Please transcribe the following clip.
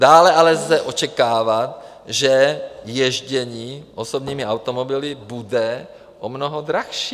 Dále ale lze očekávat, že jezdění osobními automobily bude o mnoho dražší.